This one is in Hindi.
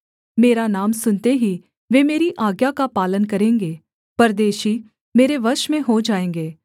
मेरा नाम सुनते ही वे मेरी आज्ञा का पालन करेंगे परदेशी मेरे वश में हो जाएँगे